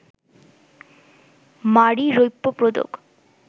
মারি রৌপ্য পদক